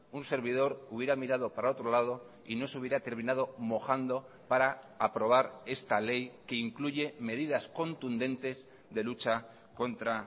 un servidor hubiera mirado para otro lado y no se hubiera terminado mojando para aprobar esta ley que incluye medidas contundentes de lucha contra